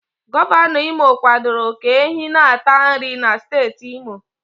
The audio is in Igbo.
Gọvanọ Imo kwadoro ka ehi na-ata nri na steeti imo